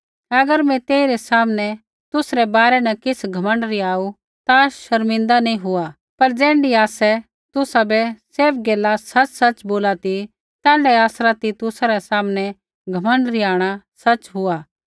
अगर मैं तेई रै सामने तुसरै बारै न किछ़ घमण्ड रिहाऊ ता शर्मिंदा नैंई हुआ पर ज़ैण्ढी आसै तुसाबै सैभ गैला सच़सच़ बोली ती तैण्ढाऐ आसरा तितुसा रै सामनै घमण्ड रिहाणा सच़ हुआ